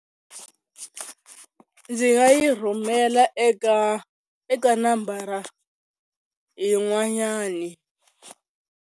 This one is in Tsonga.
Ndzi nga yi rhumela eka eka nambara yin'wanyani.